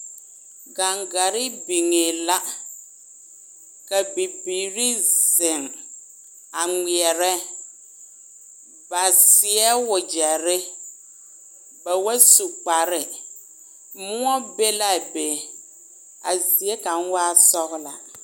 Gangare biŋɛ la, ka bibiiri zeŋ a ŋmeɛre ba seɛ wagyɛre ba ba su kparre moɔ be la a be a zie kaŋa waa sɔglaa.